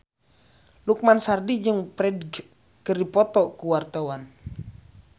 Lukman Sardi jeung Ferdge keur dipoto ku wartawan